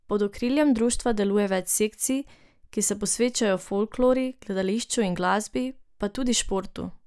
Pod okriljem društva deluje več sekcij, ki se posvečajo folklori, gledališču in glasbi, pa tudi športu.